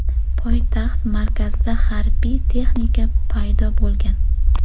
Poytaxt markazida harbiy texnika paydo bo‘lgan.